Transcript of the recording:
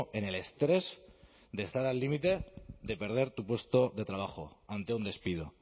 en el estrés de estar al límite de perder tu puesto de trabajo ante un despido